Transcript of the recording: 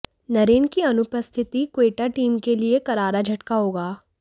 नरेन की अनुपस्थिति क्वेटा टीम के लिए करारा झटका होगा